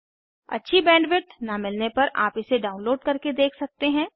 अच्छी बैंडविड्थ न मिलने पर आप इसे डाउनलोड करके देख सकते हैं